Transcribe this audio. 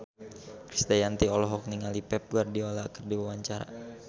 Krisdayanti olohok ningali Pep Guardiola keur diwawancara